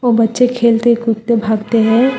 वो बच्चे खेलते कूदते भागते हैं।